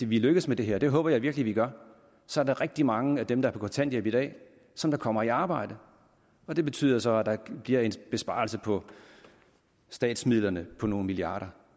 vi lykkes med det her og det håber jeg virkelig vi gør så er der rigtig mange af dem der er på kontanthjælp i dag som kommer i arbejde og det betyder så at der bliver en besparelse på statsmidlerne på nogle milliarder